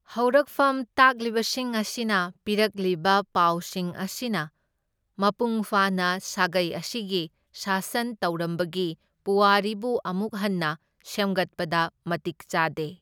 ꯍꯧꯔꯛꯐꯝ ꯇꯥꯛꯂꯤꯕꯁꯤꯡ ꯑꯁꯤꯅ ꯄꯤꯔꯛꯂꯤꯕ ꯄꯥꯎꯁꯤꯡ ꯑꯁꯤꯅ ꯃꯄꯨꯡ ꯐꯥꯅ ꯁꯥꯒꯩ ꯑꯁꯤꯒꯤ ꯁꯥꯁꯟ ꯇꯧꯔꯝꯕꯒꯤ ꯄꯨꯋꯥꯔꯤꯕꯨ ꯑꯃꯨꯛ ꯍꯟꯅ ꯁꯦꯝꯒꯠꯄꯗ ꯃꯇꯤꯛ ꯆꯥꯗꯦ꯫